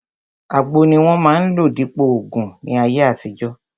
Àgbo ni wọ́n máa ń lò dípòo ògùn ní ayé àtijọ́